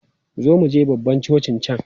Zo muje babban cocin can!